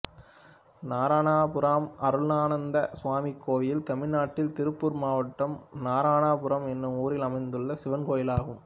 நாரணாபுரம் அருளானந்த சுவாமி கோயில் தமிழ்நாட்டில் திருப்பூர் மாவட்டம் நாரணாபுரம் என்னும் ஊரில் அமைந்துள்ள சிவன் கோயிலாகும்